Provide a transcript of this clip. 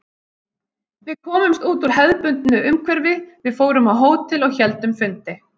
Við komumst út úr hefðbundnu umhverfi, við fórum á hótel og héldum fundi.